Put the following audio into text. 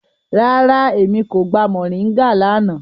Rárá, Emi ko gba mọringa lana.